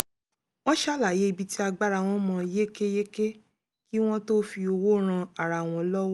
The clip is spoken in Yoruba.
wọ́n ṣàlàyé ibi tí agbára wọn mọ yékéyéké kí wọ́n tó fi owó ran ara wọn lọ́wọ́